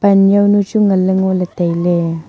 anyaunyu chu nganle ngole taile.